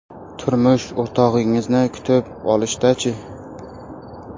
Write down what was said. Turmush o‘rtog‘ingizni kutib olishda-chi?